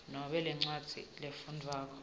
noma lencwadzi lefundvwako